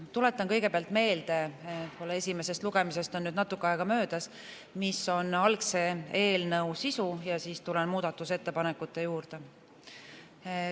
Tuletan kõigepealt meelde – esimesest lugemisest on natuke aega möödas –, mis on algse eelnõu sisu, ja siis tulen muudatusettepanekute juurde.